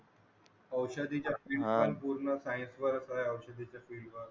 औषधी च्या पूर्ण साईड वर